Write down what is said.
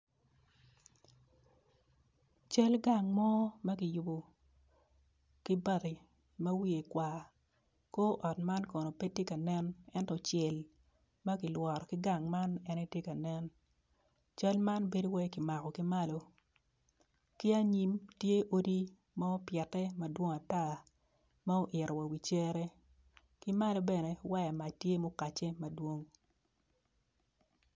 Cal gang mo makiyubo kibati ma wiye kwar kor ot man kono petye ka nen enyo cel makilworo kigang man en aye tye kanen cal man bedo calo kimako kimalo ki anyim tye odi ma opiete madwong atar ma oyito wa i wi cere kimalo bene wange ot tye ma okace madwong.